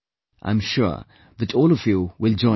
I am sure that all of you will join me